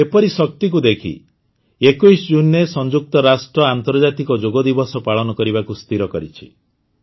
ଯୋଗର ଏପରି ଶକ୍ତିକୁ ଦେଖି ୨୧ ଜୁନରେ ସଂଯୁକ୍ତ ରାଷ୍ଟ୍ର ଆନ୍ତର୍ଜାତିକ ଯୋଗ ଦିବସ ପାଳନ କରିବାକୁ ସ୍ଥିର କରିଛି